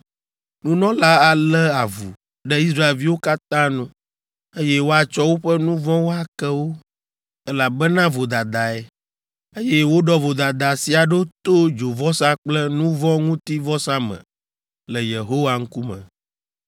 Nunɔla alé avu ɖe Israelviwo katã nu, eye woatsɔ woƒe nu vɔ̃wo ake wo, elabena vodadae, eye woɖɔ vodada sia ɖo to dzovɔsa kple nu vɔ̃ ŋuti vɔsa me le Yehowa ŋkume.